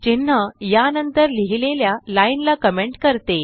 चिन्ह या नंतर लिहिलेल्या लाइन ला कमेंट करते